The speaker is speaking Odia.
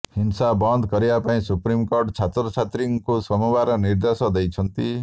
ହିଂସା ବନ୍ଦ କରିବା ପାଇଁ ସୁପ୍ରିମକୋର୍ଟ ଛାତ୍ରଛାତ୍ରୀଙ୍କୁ ସୋମବାର ନିର୍ଦେଶ ଦେଇଛନ୍ତି